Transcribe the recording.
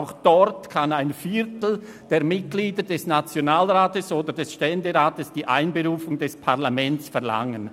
Auch dort kann ein Viertel der Mitglieder des National- oder des Ständerats die Einberufung des Parlaments verlangen.